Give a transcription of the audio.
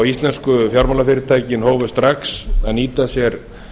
íslensku fjármálafyrirtækin hófu strax að nýta sér